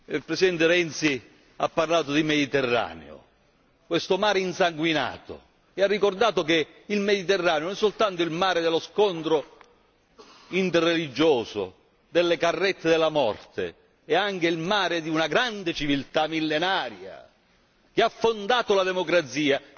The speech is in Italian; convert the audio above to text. Il Presidente Renzi ha parlato di Mediterraneo, questo mare insanguinato, e ha ricordato che il Mediterraneo non è soltanto il mare dello scontro interreligioso, delle carrette della morte è anche il mare di una grande civiltà millenaria, che ha fondato la democrazia.